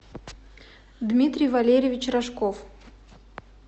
дмитрий валерьевич рожков